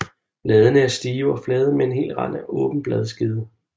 Bladene er stive og flade med hel rand og åben bladskede